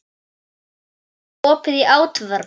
Óli, er opið í ÁTVR?